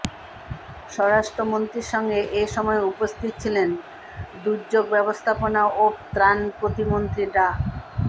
স্বরাষ্ট্রমন্ত্রীর সঙ্গে এ সময় উপস্থিত ছিলেন দুর্যোগ ব্যবস্থাপনা ও ত্রাণ প্রতিমন্ত্রী ডা